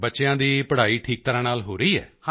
ਬੱਚਿਆਂ ਦੀ ਪੜ੍ਹਾਈ ਠੀਕ ਤਰ੍ਹਾਂ ਨਾਲ ਹੋ ਰਹੀ ਹੈ